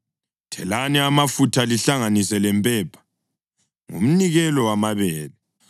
Thelani amafutha lihlanganise lempepha: ngumnikelo wamabele.